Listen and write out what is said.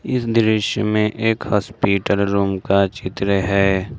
इस दृश्य में एक हॉस्पिटल रूम का चित्र है।